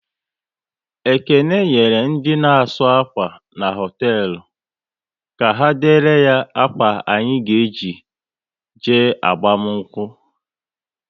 Ekene nyere ndị na asụ akwa n' hoteelu, ka ha dere ya ákwà anyị ga eji je agbamakwụkwọ